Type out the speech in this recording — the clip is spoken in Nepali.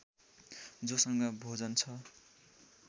जोसँग भोजन छ